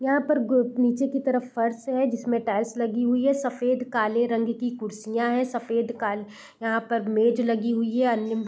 यहाँ पर ग्रुप नीचे की तरफ फर्श है जिसमें टाइल्स लगी हुई है सफेद-काले रंग की कुर्सियां है सफेद काली यहाँ पर मेज लगी हुई है अन्य --